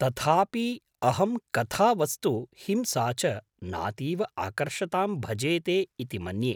तथापि अहं कथावस्तु हिंसा च नातीव आकर्षतां भजेते इति मन्ये।